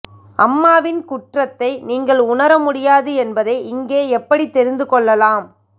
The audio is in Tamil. அம்மாவின் குற்றத்தை நீங்கள் உணர முடியாது என்பதை இங்கே எப்படித் தெரிந்துகொள்ளலாம்